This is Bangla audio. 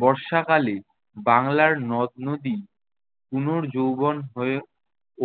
বর্ষাকালে বাংলার নদ-নদী পুনর্যৌবন হয়ে